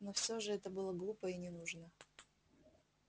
но всё же это было глупо и ненужно